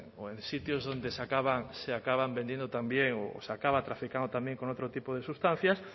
o en sitios donde se acaba vendiendo también o se acaba traficando también con otro tipo de sustancias